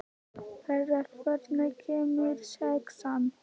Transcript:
Perla, hvenær kemur sexan?